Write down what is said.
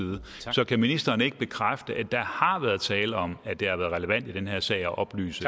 så kan ministeren ikke bekræfte at der har været tale om at det har været relevant i den her sag at oplyse